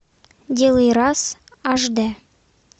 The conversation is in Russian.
делай раз аш д